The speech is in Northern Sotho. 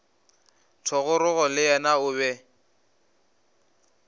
thogorogo le yena o be